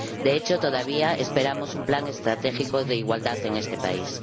De hecho, todavía esperamos un plan estratégico de igualdad en este país.